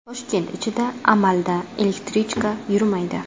Toshkent ichida amalda elektrichka yurmaydi.